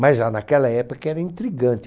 Mas já naquela época era intrigante.